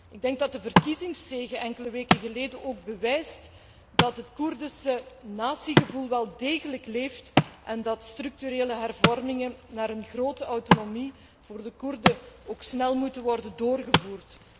Ik denk dat de verkiezingszege enkele weken geleden ook bewijst dat het Koerdische natiegevoel wel degelijk leeft en dat structurele hervormingen voor een grote autonomie voor de Koerden ook snel moeten worden doorgevoerd.